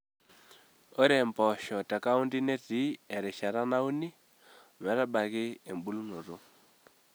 Ore mpoosho te kaunti netii erishata nauni ometabaiki ebulunoto.